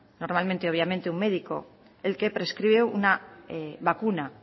normalmente obviamente un médico el que prescribe una vacuna